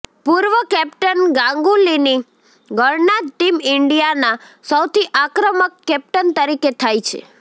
પૂર્વ કેપ્ટન ગાંગુલીની ગણના ટીમ ઈન્ડિયાના સૌથી આક્રમક કેપ્ટન તરીકે થાય છે